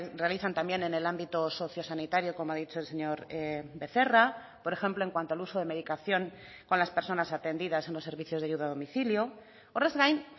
realizan también en el ámbito socio sanitario como ha dicho el señor becerra por ejemplo en cuanto al uso de medicación con las personas atendidas en los servicios de ayuda a domicilio horrez gain